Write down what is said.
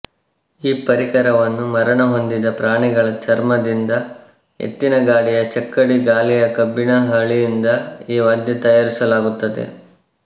ಈ ಪರಿಕರವನ್ನು ಮರಣ ಹೊಂದಿದ ಪ್ರಾಣಿಗಳ ಚರ್ಮದಿಂದ ಎತ್ತಿನ ಗಾಡಿಯ ಚಕ್ಕಡಿ ಗಾಲಿಯ ಕಬ್ಬಿಣ ಹಳಿಯಿಂದ ಈ ವಾದ್ಯ ತಯಾರಿಸಲಾಗುತ್ತದೆ